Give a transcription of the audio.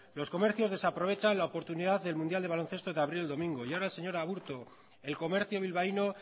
los comercios desaprovechan la oportunidad del mundial de baloncesto de abrir el domingo y ahora señor aburto el comercio bilbaíno